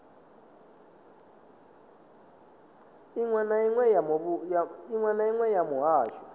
iṅwe na iṅwe ya muhasho